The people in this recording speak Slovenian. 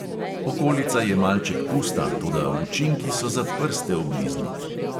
Okolica je malček pusta, toda učinki so za prste obliznit.